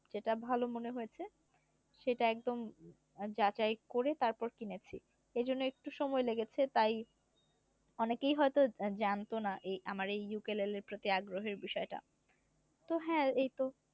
যেটা ভালো মনে হয়েছে সেটা একদম একদম যাচাই করে তারপর কিনেছি এজন্য একটু সময় লেগেছে তাই অনেকেই হয়তো জানতো না এই আমার এই এর প্রতি আগ্রহের বিষয় টা তো হ্যা এই তো